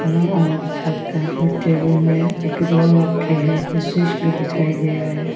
अलग साइड का टेबल में रखे हैं और स्विच भी दिखाई दे रहा हैं।